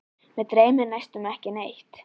Mig dreymir næstum ekki neitt.